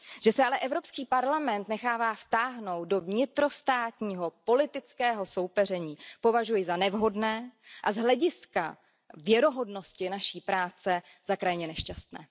Že se ale Evropský parlament nechává vtáhnout do vnitrostátního politického soupeření, považuji za nevhodné a z hlediska věrohodnosti naší práce za krajně nešťastné.